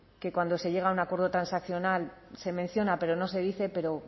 que cuando se llega a un acuerdo transaccional se menciona pero no se dice pero